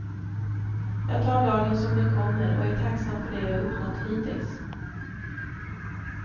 Jag tar dagen som den kommer och är tacksam för det jag uppnått hittills.